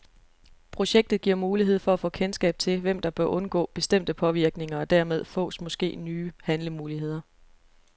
Projektet giver mulighed for at få kendskab til, hvem der bør undgå bestemte påvirkninger, og dermed fås måske nye handlemuligheder.